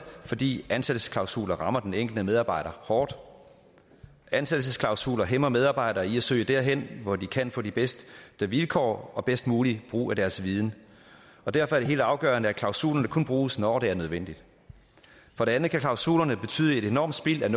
fordi ansættelsesklausuler rammer den enkelte medarbejder hårdt ansættelsesklausuler hæmmer medarbejdere i at søge derhen hvor de kan få de bedste vilkår og den bedst mulige brug af deres viden derfor er det helt afgørende at klausulerne kun bruges når det er nødvendigt for det andet kan klausulerne betyde et enormt spild af